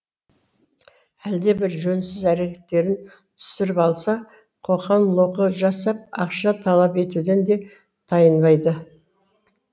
әлде бір жөнсіз әрекеттерін түсіріп алса қоқаң лоққы жасап ақша талап етуден де тайынбайды